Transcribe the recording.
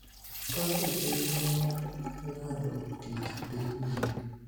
kaka chenro mar ng�ado tich dhi nyime.